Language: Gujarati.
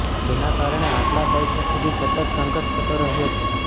તેના કારણે આટલા દાયકા સુધી સતત સંઘર્ષ થતો રહ્યો છે